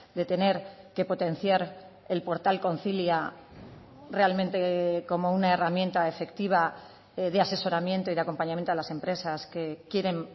de tener que potenciar el portal concilia realmente como una herramienta efectiva de asesoramiento y de acompañamiento a las empresas que quieren